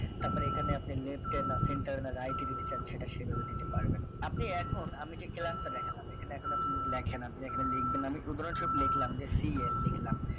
তারপরে left এ centure right এ যেতে চান সেটা সেভাবে দিতে পারেন আপনি এখন আমি যে class দেখালাম এখানে আপনি যদি লেখেন আপনি এখানে লিখবেন আমি উদাহরণস্বরূপ লিখলাম যে cn লিখলাম